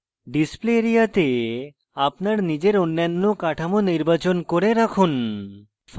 display area তে আপনার নিজের অন্যান্য কাঠামো নির্বাচন করে রাখুন